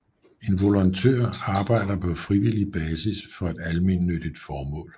En volontør arbejder på frivillig basis for et almennyttigt formål